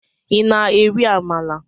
i na- eri Amala?